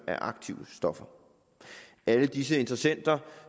af aktive stoffer alle disse interessenter